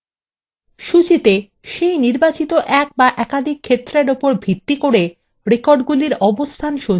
সূচীতে এক the একাধিক নির্বাচিত ক্ষেত্রর উপর ভিত্তি করে রেকর্ডগুলির অবস্থান সঞ্চিত থাকে